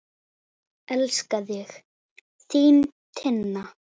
Elska þig, þín Tinna.